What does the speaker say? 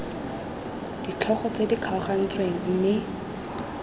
ditlhogo tse di kgaogantsweng mme